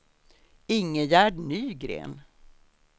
Ingegerd Nygren